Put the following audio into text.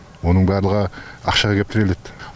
оның барлығы ақшаға кеп тіреледі